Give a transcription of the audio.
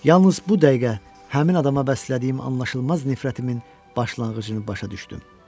Yalnız bu dəqiqə həmin adama bəslədiyim anlaşılmaz nifrətimin başlanğıcını başa düşdüm.